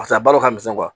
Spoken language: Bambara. Paseke a baaraw ka misɛn